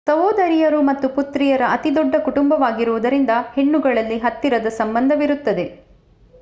ಸಹೋದರಿಯರು ಮತ್ತು ಪುತ್ರಿಯರ ಅತಿ ದೊಡ್ಡ ಕುಟುಂಬವಾಗಿರುವುದರಿಂದ ಹೆಣ್ಣುಗಳಲ್ಲಿ ಹತ್ತಿರದ ಸಂಬಂಧವಿರುತ್ತದೆ